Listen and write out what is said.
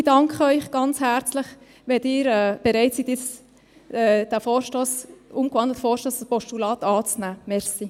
Ich danke Ihnen ganz herzlich, wenn Sie bereit sind, den umgewandelten Vorstoss als Postulat anzunehmen.